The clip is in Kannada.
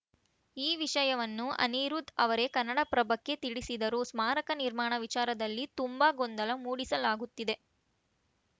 ಈ ವಿಷಯವನ್ನು ಅನಿರುದ್‌ ಅವರೇ ಕನ್ನಡಪ್ರಭಕ್ಕೆ ತಿಳಿಸಿದರು ಸ್ಮಾರಕ ನಿರ್ಮಾಣ ವಿಚಾರದಲ್ಲಿ ತುಂಬಾ ಗೊಂದಲ ಮೂಡಿಸಲಾಗುತ್ತಿದೆ